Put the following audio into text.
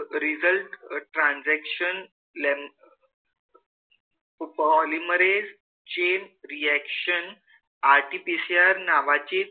अं result transaction length polymerase chain reaction RTPCR नावाची